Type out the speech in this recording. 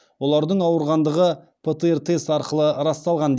олардың ауырғандығы птр тест арқылы расталған